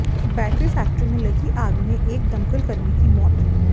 battery factory में लगी आग में एक दमकल कर्मी की मौत